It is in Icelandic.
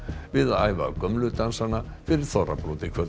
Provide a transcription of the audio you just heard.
við að æfa gömlu dansana fyrir þorrablót í kvöld